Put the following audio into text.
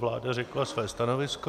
Vláda řekla své stanovisko.